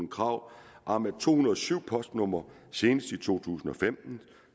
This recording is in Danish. krav om at to hundrede og syv postnumre senest i to tusind og femten